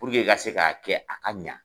Puruke i ka se k'a kɛ a ka ɲa